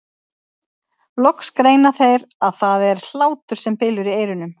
Loks greina þeir að það er hlátur sem bylur í eyrunum.